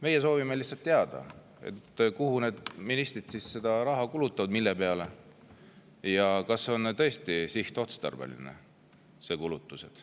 Meie soovime lihtsalt teada, mille peale ministrid seda raha kulutavad ja kas need kulutused on tõesti sihtotstarbelised.